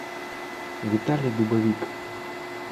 виталий дубовик